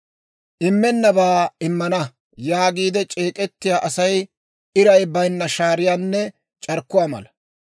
Immennabaa «Immana» yaagiidde c'eek'ettiyaa Asay iray bayinna shaariyaanne c'arkkuwaa mala.